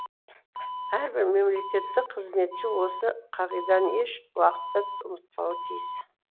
әрбір мемлекеттік қызметші осы қағиданы еш уақытта ұмытпауы тиіс